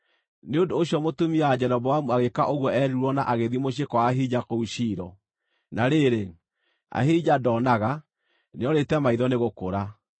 Nĩ ũndũ ũcio mũtumia wa Jeroboamu agĩĩka ũguo eerirwo na agĩthiĩ mũciĩ kwa Ahija kũu Shilo. Na rĩrĩ, Ahija ndoonaga; nĩorĩte maitho nĩ gũkũra.